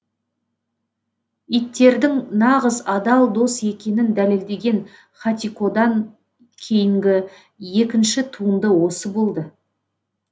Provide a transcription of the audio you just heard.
иттердің нағыз адал дос екенін дәлелдеген хатикодан кейінгі екінші туынды осы болды